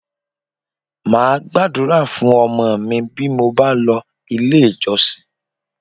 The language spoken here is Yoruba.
Máa Gbàdúrà fún ọmọ mi bí mo bá lọ ilé ìjọsìn